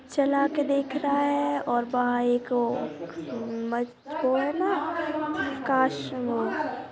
चला के देखता है और वह एक वो है ना काश वो --